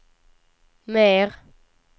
mer